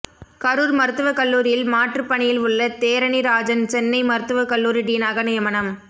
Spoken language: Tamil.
கரூர் மருத்துவக்கல்லூரியில் மாற்று பணியில் உள்ள தேரனிராஜன் சென்னை மருத்துவ கல்லூரி டீனாக நியமனம்